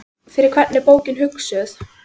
Fyrir hvern er bókin hugsuð?